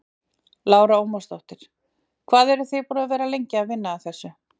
Lára Ómarsdóttir: Hvað eru þið búin að vera lengi að vinna að þessu?